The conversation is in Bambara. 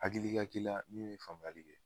Hakili ka k'ila min me faamuyali kɛ